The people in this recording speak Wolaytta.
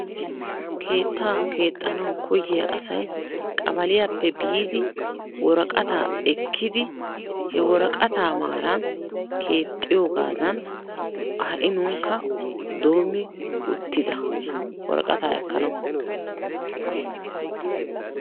Keetta keexxanaw koyiyya asay qabaliyaappe biidi woraqata ekkidi he woraqata maaran keexxiyoogadan ha'i nuunikka doommi uttida woraqata ekkanaw.